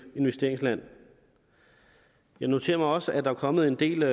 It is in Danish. investeringsland jeg noterer mig også at der er kommet en del